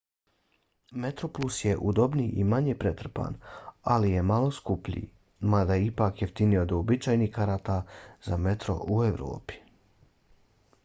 metroplus je udobniji i manje pretrpan ali je malo skuplji mada je ipak jeftiniji od uobičajenih karata za metro u evropi